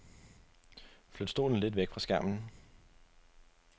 Flyt stolen lidt væk fra skærmen.